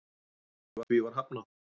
Því var hafnað